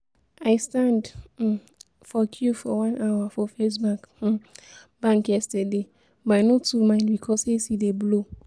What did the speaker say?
I stand um for queue for one hour for First um bank yesterday, but I no too mind because AC dey blow